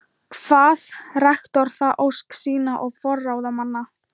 Kvað rektor það ósk sína og forráðamanna